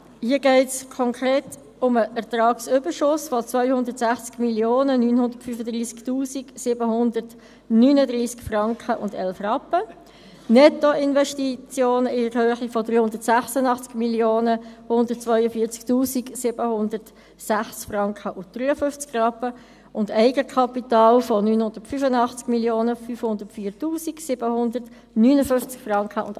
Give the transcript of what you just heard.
Hier geht es konkret um den Ertragsüberschuss, der 260 935 739,11 Franken, Nettoinvestitionen in der Höhe von 386 142 706,53 Franken, und Eigenkapital von 985 504 759,28 Franken.